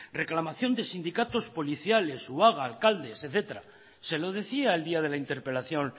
reclamación de sindicatos policiales o alcaldes etcétera se lo decía el día de la interpelación